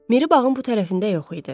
Miri bağın bu tərəfində yox idi.